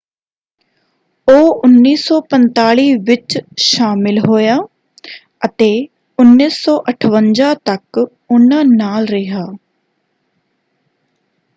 ਉਹ 1945 ਵਿੱਚ ਸ਼ਾਮਲ ਹੋਇਆ ਅਤੇ 1958 ਤੱਕ ਉਹਨਾਂ ਨਾਲ ਰਿਹਾ।